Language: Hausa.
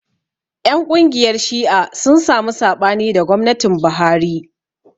Ƴan ƙungiyar Shi'a sun samu saɓani da gwamnatin Buhari.